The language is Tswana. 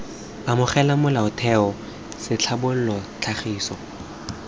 amogela molaotheo c tlhabolola tlhagiso